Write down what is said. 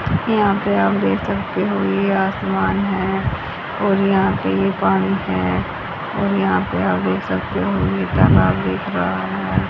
यहां पे आप देख सकते हो ये आसमान है और यहां पे ये पानी है और यहां पे आप देख सकते हो ये तालाब दिख रहा है।